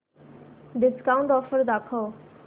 discount offer दाखव